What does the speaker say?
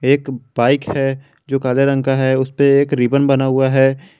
एक बाइक है जो काले रंग का है उसपे एक रिबन बना हुआ है।